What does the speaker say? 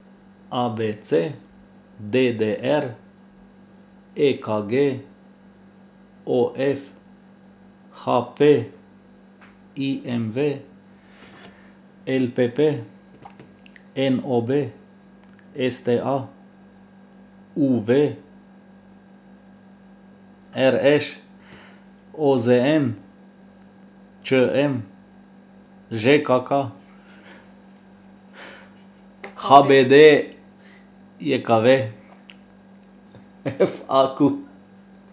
A B C; D D R; E K G; O F; H P; I M V; L P P; N O B; S T A; U V; R Š; O Z N; Č M; Ž K K; H B D J K V; F A Q.